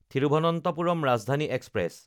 Thiruvananthapuram Rajdhani express